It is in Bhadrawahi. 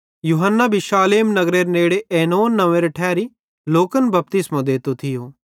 यूहन्ना भी शालेम नगरेरे नेड़े ऐनोन नंव्वेरे ठैरी लोकन बपतिस्मो देतो थियो किजोकि तैड़ी हच्छु पानी थियूं त लोक बपतिस्मो नेनेरे लेइ तैस कां एइते राते थिये